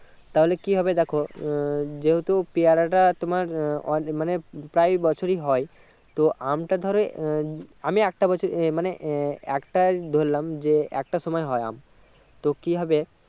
তাহলে কি হবে দেখো উম যেহুতু পেয়ারা টা তোমার অনেক মানে আহ প্রায় বছরে হয় তো আম টা ধরো আহ আমি একটা বছর এ মানে আহ একটাই ধরলাম যে একটা সময় হয় আম তো কি হবে